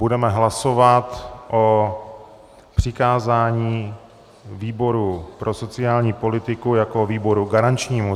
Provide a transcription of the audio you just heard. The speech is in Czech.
Budeme hlasovat o přikázání výboru pro sociální politiku jako výboru garančnímu.